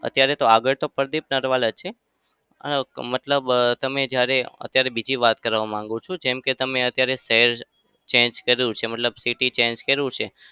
અત્યારે તો આગળ તો પ્રદીપ નરવાલ જ છે. મતલબ તમે જયારે અત્યારે બીજી વાત કરવા માંગુ છું. જેમ કે તમે શહેર change કર્યું છે મતલબ city change કર્યું છે.